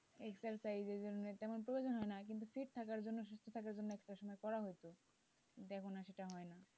exercise এর জন্য তেমন প্রয়োজন হয় না কিন্তু fit থাকার জন্য সুস্থ থাকার জন্যএকটা সময় করা হতো এখন আর সেটা হয় না।